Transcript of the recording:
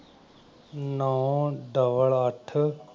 ਨੌਂ double ਅੱਠ।